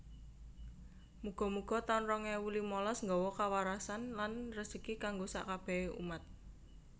Mugo mugo taun rong ewu limalas nggowo kawarasan lan rejeki kanggo sak kabehe umat